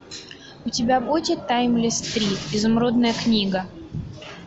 у тебя будет таймлесс три изумрудная книга